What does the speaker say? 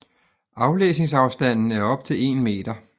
Aflæsningsafstanden er op til 1 meter